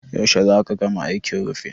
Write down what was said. Yaushe za ka gama aikin rufin?